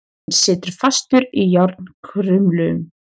Hann situr fastur í járnkrumlum.